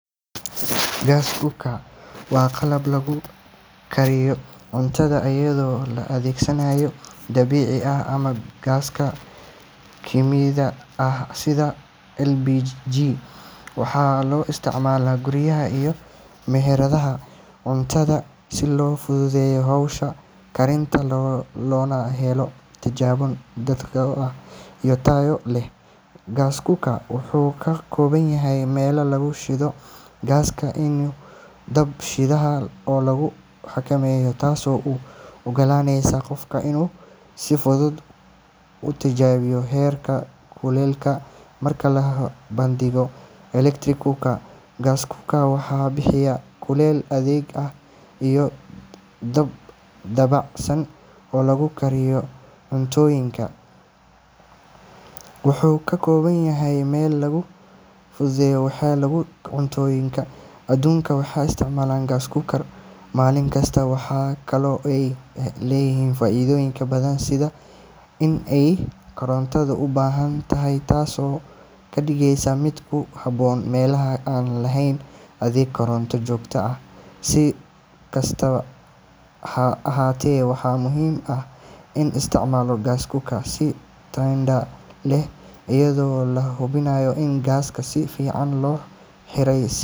Gas cooker waa qalab lagu kariyo cuntada iyadoo la adeegsanayo gaaska dabiiciga ah ama gaaska kiimikada ah sida LPG. Waxaa loo isticmaalaa guryaha iyo meheradaha cuntada si loo fududeeyo hawsha karinta loona helo natiijooyin dhakhso iyo tayo leh. Gas cooker wuxuu ka kooban yahay meel lagu shido gaaska iyo dab shidaha oo lagu xakameeyo, taasoo u oggolaanaysa qofka inuu si fudud u hagaajiyo heerka kulaylka. Marka la barbardhigo electric cookers, gas cooker waxay bixisaa kulayl degdeg ah iyo dab dabacsan oo lagu kariyo cuntooyin kala duwan. Qiyaastii seventy percent guryaha adduunka waxay isticmaalaan gas cookers maalin kasta. Waxa kale oo ay leedahay faa’iidooyin badan sida in aanay koronto u baahnayn, taas oo ka dhigaysa mid ku habboon meelaha aan lahayn adeeg koronto joogto ah. Si kastaba ha ahaatee, waxaa muhiim ah in la isticmaalo gas cooker si taxaddar leh, iyadoo la hubinayo in gaaska si fiican loo xiray.